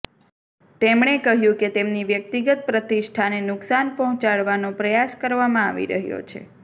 તેમણે કહ્યું કે તેમની વ્યક્તિગત પ્રતિષ્ઠાને નુકસાન પહોંચાડવાનો પ્રયાસ કરવામાં આવી રહ્યો છે